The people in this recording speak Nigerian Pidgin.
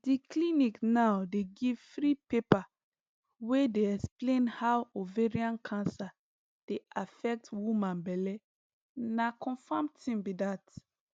di clinic now dey give free paper wey dey explain how ovarian cancer dey affect woman belle na confam tin be dat